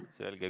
Selge.